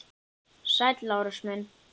Sæll, Lárus minn.